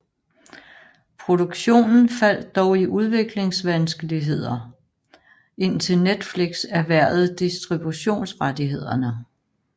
Produktionen faldt dog i udviklingsvanskeligheder indtil Netflix erhvervede distributionsrettighederne